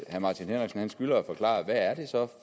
martin henriksen skylder at forklare hvad det så er